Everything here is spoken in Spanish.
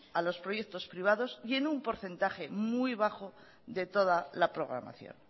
a los proyectos privados y en un porcentaje muy bajo de toda la programación